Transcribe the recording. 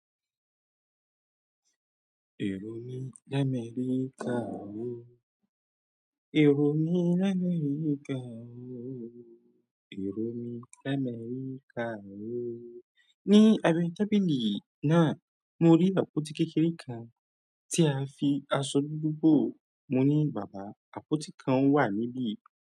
Èrò mi l'Améríkà ò ó, èrò mi l'Améríkà ò ó, èrò mi l'Améríkà ò ó. Ni àbẹ́ tábìlì náà, mo rí àpótí kékeré kan tí a fi aṣọ dúdú bò. Mo ní, "bàbá, àpótí kan wà níbí."